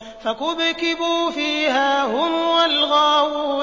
فَكُبْكِبُوا فِيهَا هُمْ وَالْغَاوُونَ